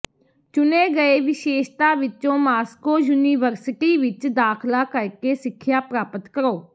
ਚੁਣੇ ਗਏ ਵਿਸ਼ੇਸ਼ਤਾ ਵਿਚ ਮਾਸਕੋ ਯੂਨੀਵਰਸਿਟੀ ਵਿਚ ਦਾਖਲਾ ਕਰਕੇ ਸਿੱਖਿਆ ਪ੍ਰਾਪਤ ਕਰੋ